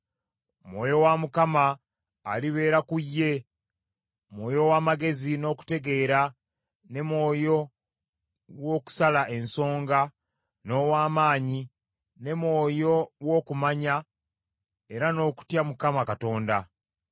Mwoyo wa Mukama alibeera ku ye, Mwoyo ow’amagezi n’okutegeera ne Mwoyo w’okusala ensonga, n’ow’amaanyi ne Mwoyo w’okumanya era n’okutya Mukama Katonda.